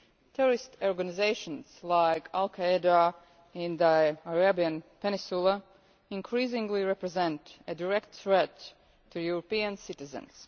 Terrorist organisations like al Qaeda in the Arabian Peninsula increasingly represent a direct threat to European citizens.